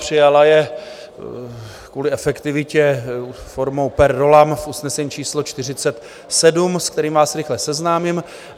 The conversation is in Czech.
Přijala je kvůli efektivitě formou per rollam v usnesení číslo 47, se kterým vás rychle seznámím.